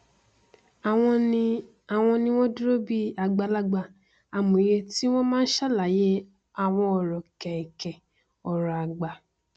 àwọn ni àwọn ni wọn dúró bí i àgbàlagbà amòye tí wọn máa n sàlàyé àwọn ọrọ kẹnkẹ ọrọ àgbà